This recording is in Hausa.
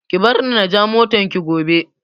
Ki bar ni na ja motar ki gobe